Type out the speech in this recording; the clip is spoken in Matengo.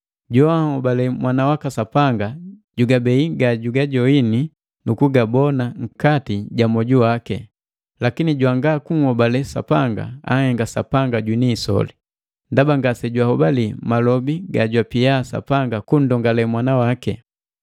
Joanhobale Mwana waka Sapanga jugabei gajagajoini nu kugabona nkati ja moju waki; lakini jwanga kunhobale Sapanga, anhenga Sapanga jwini isoli, ndaba ngase jwahobali malobi gajwapia Sapanga kunnndongale Mwana waki.